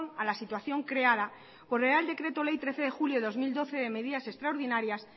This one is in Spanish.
a la situación creada por real decreto ley de trece de julio de dos mil doce de medidas extraordinarias